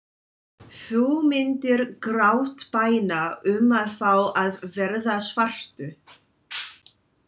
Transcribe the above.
Þú myndir grátbæna um að fá að verða svartur.